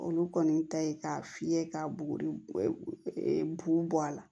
Olu kɔni ta ye k'a fiyɛ ka buguri bugu bɔ a la